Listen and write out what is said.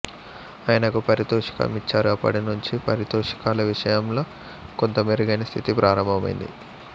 ఆయనకు పారితోషికం ఇచ్చారు అప్పటినుంచీ పారితోషికాల విషయంలో కొంత మెరుగైన స్థితి ప్రారంభమైంది